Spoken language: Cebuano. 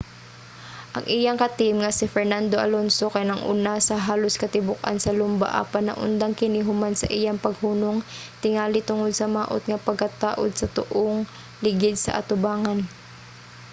ang iyang ka-team nga si fernando alonso kay nag-una sa halos katibuk-an sa lumba apan naundang kini human sa iyang paghunong tingali tungod sa maot nga pagkataud sa tuong ligid sa atubangan